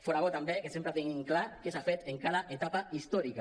fora bo també que sempre tinguin clar què s’ha fet en cada etapa històrica